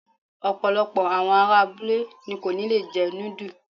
Ọ̀pọ̀lọpọ̀ àwọn ará abúlé ni kò ní lè jẹ núdù.